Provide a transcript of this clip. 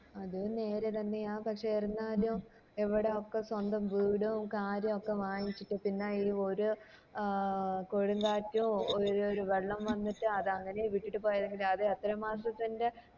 അത് നേര് തന്നെയാ പക്ഷെ എന്നാലും എവിടൊക്ക സ്വന്തം വീടും കാര്യോ ഒക്ക വാങ്ങിച്ചിട്ട് പിന്നെ ഈ ഒരു ആഹ് കൊടുംകാറ്റോ ഒരു വെള്ളം വന്നിറ്റ് അത് അങ്ങനെ വിട്ടിട്ട് പോയ എങ്ങനാ അത് എത്ര മാസത്തിൻറെ